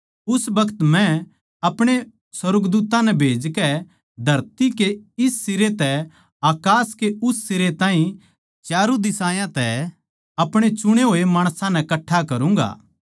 उस बखत मै आपणे सुर्गदूत्तां नै खन्दाकै धरती कै इस सिरे तै अकास कै उस सिरे ताहीं च्यारू दिशायां तै आपणे चुणे होये माणसां नै कट्ठा करूँगा